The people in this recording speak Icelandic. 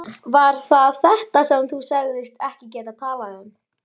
Var það þetta sem þú sagðist ekki geta talað um?